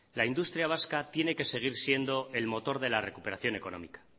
la industria vasca tiene que seguir siendo el motor de la recuperación económica